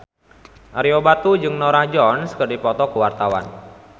Ario Batu jeung Norah Jones keur dipoto ku wartawan